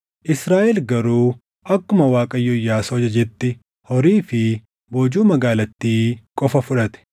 Israaʼel garuu akkuma Waaqayyo Iyyaasuu ajajetti horii fi boojuu magaalattii qofa fudhate.